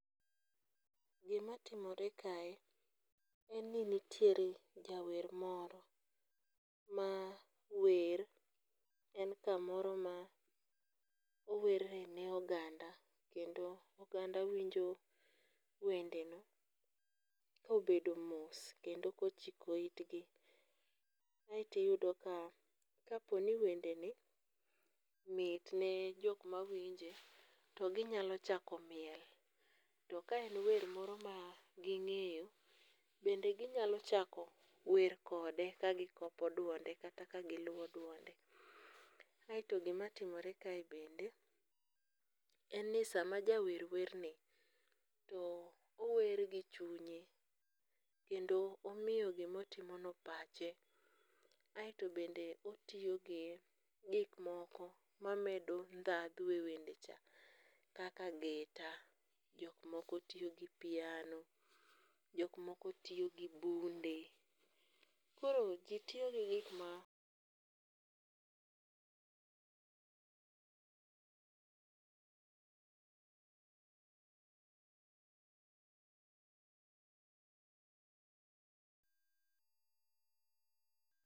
Gimatimore kae, en ni nitie jawer moro, ma wer, en kamoro ma owerne oganda kendo oganda winjo wendene kobedo mos kendo kochiko itgi, aeto iyuda ka oponi wendene mitne jok ma winje toginyalo chako miel, to ka en wer moro ma ging'eyo bende ginyalo chako wer kode kagikope duonde kata kagi luo duonde aeto gimatimore kae bende, en ni sama jawer werni to ower gi chunye kendo omiyo gimotimono pache, aeto bende otiyo gi gik moko mamendo dhadho e wende cha, kaka gita jok moko tiyo gi piano, jok moko tiyo gi bunde, koro ji tiyo gi gik ma